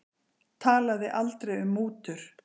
Talaði aldrei um mútur